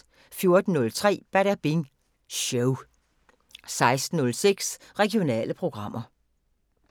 14:03: Badabing Show 16:06: Regionale programmer